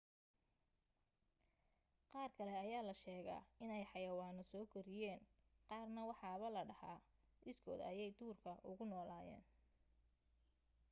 qaar kale ayaa la sheegaa inay xayawaano soo koriyeen qaarna waxaaba la dhahaa iskood ayay duurka ugu noolaayeen